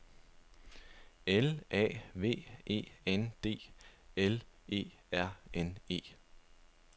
L A V E N D L E R N E